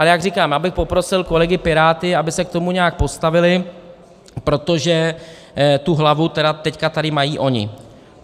Ale jak říkám, já bych poprosil kolegy Piráty, aby se k tomu nějak postavili, protože tu hlavu tedy teď tady mají oni.